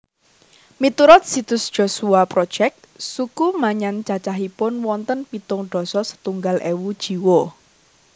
Miturut situs Joshua Project suku Maanyan cacahipun wonten pitung dasa setunggal ewu jiwa